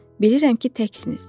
Bilirəm ki, təksiniz.